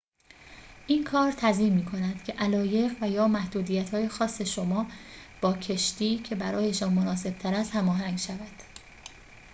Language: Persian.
این کار تضمین می‌کند که علایق و/یا محدودیت‌های خاص شما با کشتی که برایشان مناسب‌تر است هماهنگ شود